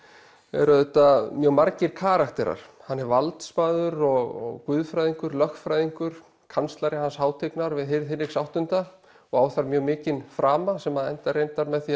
auðvitað mjög margir karakterar hann er valdsmaður og guðfræðingur lögfræðingur kanslari hans hátignar við hirð Hinriks átta og á þar mjög mikinn frama sem endar reyndar með því